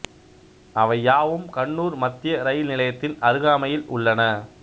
அவை யாவும் கண்ணூர் மத்திய இரயில் நிலையத்தின் அருகாமையில் உள்ளன